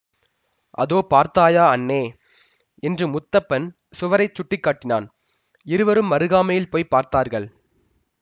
அதோ பார்த்தாயா அண்ணே என்று முத்தப்பன் சுவரைச் சுட்டி காட்டினான் இருவரும் அருகாமையில் போய் பார்த்தார்கள்